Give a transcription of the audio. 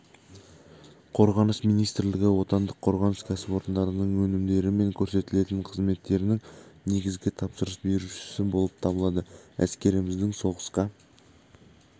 қорғаныс министрлігі отандық қорғаныс кәсіпорындарының өнімдері мен көрсетілетін қызметтерінің негізгі тапсырыс берушісі болып табылады әскеріміздің соғысқа